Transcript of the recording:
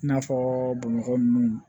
I n'a fɔ bamakɔ nunnu